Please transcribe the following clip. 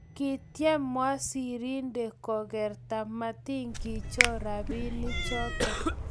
kityem wasirinde kokerta matikichor robinik choto